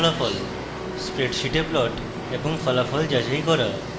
স্প্রেডশীটে plot এবং ফলাফল যাচাই করা